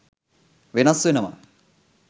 වෙනස් වෙනවා.